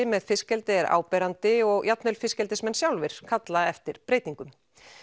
með fiskeldi er áberandi og jafnvel fiskeldismenn sjálfir kalla eftir breytingum